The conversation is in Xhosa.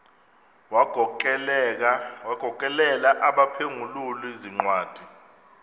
wagokelela abaphengululi zincwadi